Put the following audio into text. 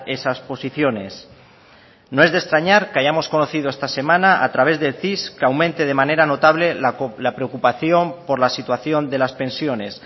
esas posiciones no es de extrañar que hayamos conocido esta semana a través del cis que aumente de manera notable la preocupación por la situación de las pensiones